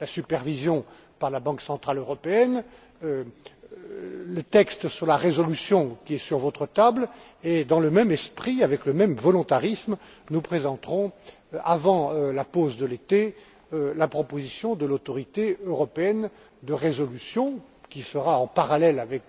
la supervision par la Banque centrale européenne, le texte sur la résolution qui est sur votre table et, dans le même esprit, avec le même volontarisme, nous présenterons avant la pause de l'été la proposition de l'autorité européenne de résolution, qui sera en parallèle avec